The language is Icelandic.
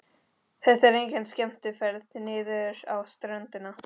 Þetta er engin skemmtiferð niður á ströndina.